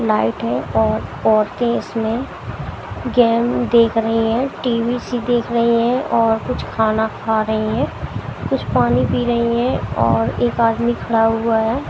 Light है और औरतें इसमें गेम देख रही हैं टी_वी सी देख रही हैं और कुछ खाना खा रही हैं कुछ पानी पी रही हैं और एक आदमी खड़ा हुआ है।